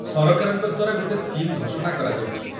ସରକାରଙ୍କ ଦ୍ୱାରା ଗୋଟେ ସ୍କିମ୍ ଘୋଷଣା କରାଯାଇଛି